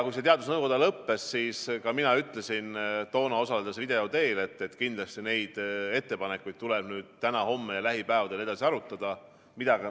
Kui see kabinetinõupidamine lõppes, siis ka mina ütlesin toona, osaledes video teel, et kindlasti neid ettepanekuid tuleb nüüd täna-homme ja lähipäevadel edasi arutada.